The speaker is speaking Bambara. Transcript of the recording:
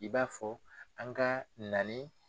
I b'a fɔ an ka na ni.